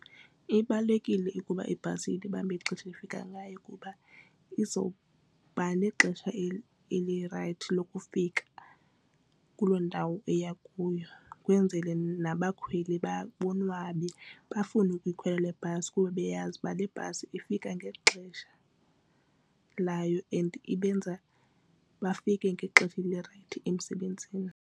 Ibalulekile ukuba ibhasi ilibambe ixesha efika ngayo kuba izoba nexesha elirayithi lokufika kuloo ndawo iya kuyo kwenzele nabakhweli bonwabe bafune ukuyikhwela le bhasi kuba beyazi uba le bhasi ifika ngexesha layo and ibenza bafike ngexesha elirayithi emsebenzini.